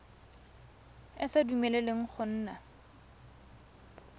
e sa dumeleleng go nna